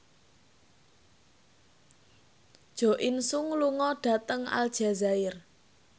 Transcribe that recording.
Jo In Sung lunga dhateng Aljazair